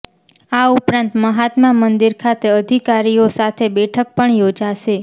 આ ઉપરાંત મહાત્મા મંદિર ખાતે અધિકારીઓ સાથે બેઠક પણ યોજશે